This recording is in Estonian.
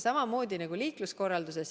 Samamoodi nagu liikluskorralduses.